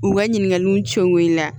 U ka ɲininkaliw cɛw i la